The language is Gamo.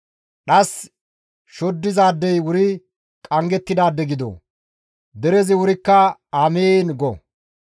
«Dhas shoddizaadey wuri qanggettidaade gido!» Derezi wurikka, «Amiin!» go.